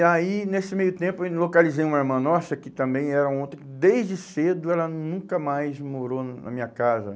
E aí, nesse meio tempo, eu localizei uma irmã nossa, que também era ontem, desde cedo ela nunca mais morou na minha casa.